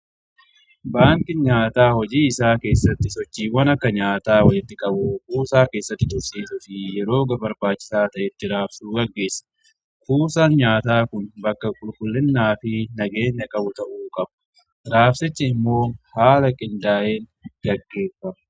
Baankin nyaataa hojii isaa keessatti sochiiwwan akka nyaataa walitti qabu kuusaa keessatti tursiisu fi yeroo barbaachisaa ta'etti raabsuu gaggeessa. Kuusaa nyaataa kun bakka qulqullinnaa fi nagaenya qabu ta'uu qabu. Raabsichi immoo haala qindaa'een gaggeeffama.